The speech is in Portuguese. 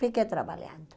Fiquei trabalhando.